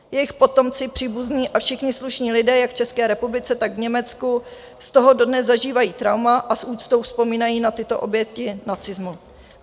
Jejich potomci, příbuzní a všichni slušní lidé jak v České republice, tak v Německu z toho dodnes zažívají trauma a s úctou vzpomínají na tyto oběti nacismu.